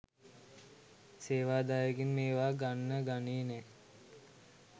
සේවා දායකයින් මේවා ගන්න ගනේ නෑ